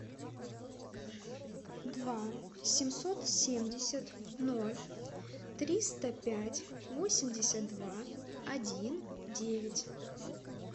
два семьсот семьдесят ноль триста пять восемьдесят два один девять